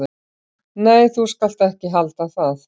"""Nei, þú skalt ekki halda það!"""